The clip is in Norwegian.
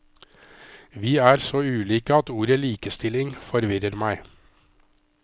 Vi er så ulike at ordet likestilling forvirrer meg.